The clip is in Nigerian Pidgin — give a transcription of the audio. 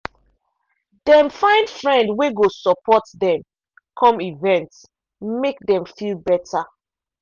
dem find friend wey go support dem come events make dem feel better.